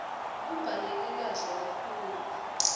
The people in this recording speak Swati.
kubhaleke kahle kakhulu